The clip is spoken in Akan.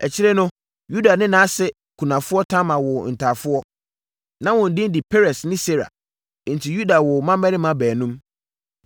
Akyire no, Yuda ne nʼase kunafoɔ Tamar woo ntafoɔ. Na wɔn din de Peres ne Serah. Enti Yuda woo mmammarima baanum.